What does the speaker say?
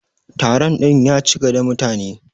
Taro din ya cika da mutane.